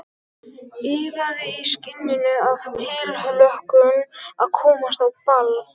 Iðaði í skinninu af tilhlökkun að komast á ball.